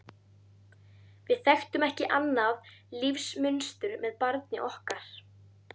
Við þekktum ekki annað lífsmunstur með barni okkar.